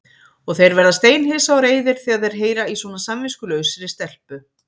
Og þeir verða steinhissa og reiðir þegar þeir heyra í svona samviskulausri stelpu.